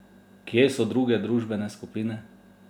Kje so druge družbene skupine?